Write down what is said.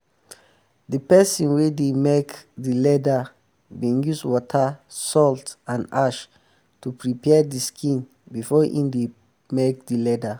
um de person wey dey make de leather um been use water salt and ash to um prepare de skin before em make de leather